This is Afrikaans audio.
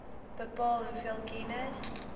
bepaal hoeveel kennis